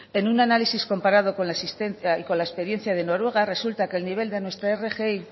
en un análisis comparado con la existente y con la experiencia de noruega resulta que el nivel de nuestra rgi